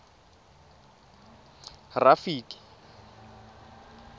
rafiki